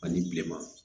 Ani bilema